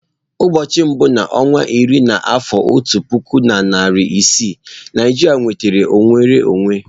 Ụbọọchi mbu na onwa iri n'afọ otu puku na iri isii, Naijiria nwetara nnwere onwe.